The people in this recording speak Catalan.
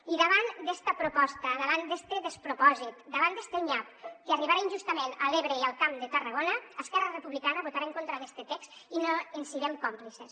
i davant d’esta proposta davant d’este despropòsit davant d’este nyap que arribarà injustament a l’ebre i al camp de tarragona esquerra republicana votarà en contra d’este text i no en serem còmplices